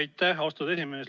Aitäh, austatud esimees!